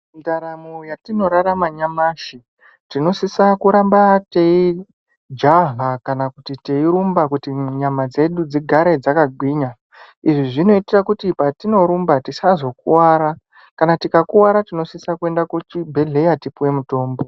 Ndaramo yatinorarame nyamashi tinosisa kuramba teijaha kana kuti teirumba kuti nyama dzedu dzigare dzakagwinya izvi zvinota kuti patinorumba tisazokuwara kana tikakuwara tinosisa kuenda kuchibhehlera tipuwe mutombo .